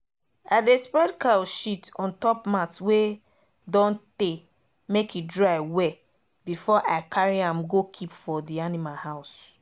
i dey spread cow shit on top mat wey don tey make e dry well before i carry am go keep for the animal house